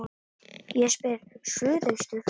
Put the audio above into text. Ég spyr: Suðaustur